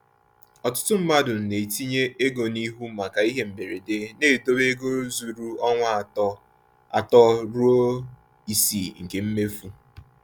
Ọtụtụ mmadụ na-etinye ego n’ihu maka ihe mberede, na-edobe ego zuru ọnwa atọ atọ ruo isii nke mmefu.